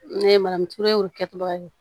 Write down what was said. Ne ye malilamu tuuru yu kɛcogoya ye